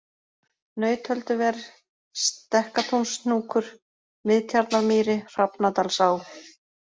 Nautölduver, Stekkatúnshnúkur, Miðtjarnarmýri, Hrafnadalsá